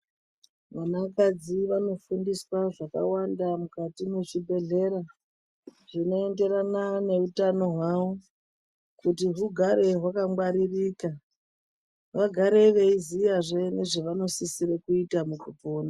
Vanakadzi vanofundiswa zvakawanda mukati mezvibhedhlera zvinoenderana neutano hwawo kuti hugare hwakangwaririka vagare veiziyazve zvavanosisire kuita mukupona.